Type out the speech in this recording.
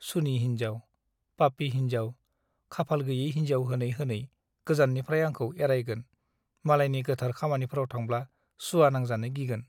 सुनि हिन्जाव , पापी हिन्जाव खाफाल गैयै हिन्जाव होनै होनै गोजाननिफ्राइ आंखौ एरायगोन मालायनि गोथार खामानिफ्राव थांब्ला सुवा नांजानो गिगोन ।